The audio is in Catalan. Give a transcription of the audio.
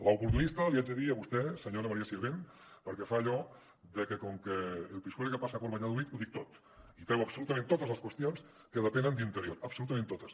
l’oportunista li haig de dir a vostè senyora maria sirvent perquè fa allò de que com que el pisuerga pasa por valladolid ho dic tot i treu absolutament totes les qüestions que depenen d’interior absolutament totes